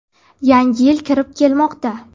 Yangi yil kirib kelmoqda.